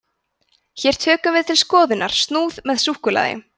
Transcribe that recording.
hér tökum við til skoðunar snúð með súkkulaði